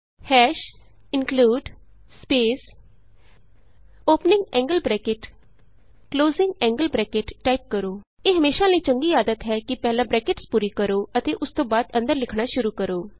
ਹਾਸ਼ include space opening angle bracket closing angle bracket italic text type ਕਰੋ ਇਹ ਹਮੇਸ਼ਾ ਲਈ ਚੰਗੀ ਆਦਤ ਹੈ ਕਿ ਪਹਿਲਾਂ ਬਰੈਕਟਸ ਪੂਰੀ ਕਰੋ ਅਤੇ ਉਸਤੋਂ ਬਾਅਦ ਅੰਦਰ ਲਿਖਣਾ ਸ਼ੁਰੂ ਕਰੋ